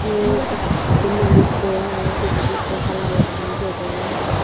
iyot ekku manuj boi agey pijedi ekku hala guriney degong.